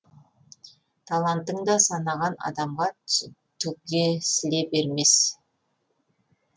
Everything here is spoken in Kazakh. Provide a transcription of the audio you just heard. талантың да санаған адамға түгесіле бермес